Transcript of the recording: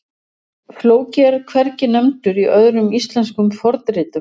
Flóki er hvergi nefndur í öðrum íslenskum fornritum.